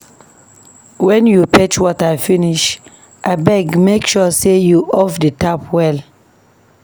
Wen you fetch water finish, abeg make sure sey you off di tap well.